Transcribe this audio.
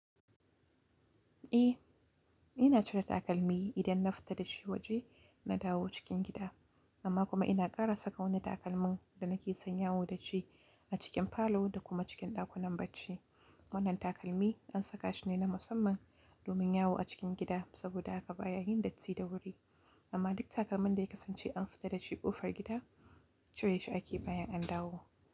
Eh, ina cire takalmi idan na fita da shi waje na dawo cikin gida. Amma kuma ina ƙara saka wani takalmin da nake san yawo da shi a cikin falo da kuma cikin ɗakunan bacci. Wannan takalmi an saka shi ne na musamman domin yawo a cikin gida saboda haka baya yin datti da wuri. Amma duk takalmin da ya kasance an fita da shi ƙofar gida cire shi ake bayan an dawo.